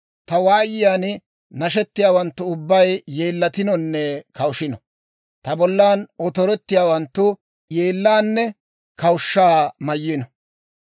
Ta waayiyaan nashettiyaawanttu ubbay yeellatinonne kawushino. Ta bollan otorettiyaawanttu yeellaanne kawushshaa mayno.